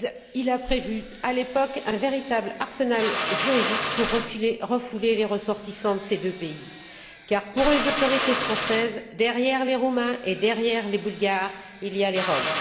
Il a prévu, à l'époque, un véritable arsenal juridique pour refouler les ressortissants de ces deux pays car, pour les autorités françaises, derrière les Roumains et derrière les Bulgares, il y a les Roms.